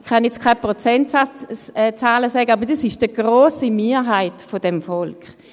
Ich kann jetzt keine Prozentzahlen nennen, aber das ist die grosse Mehrheit des Volks.